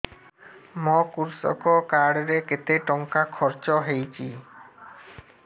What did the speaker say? ମୋ କୃଷକ କାର୍ଡ ରେ କେତେ ଟଙ୍କା ଖର୍ଚ୍ଚ ହେଇଚି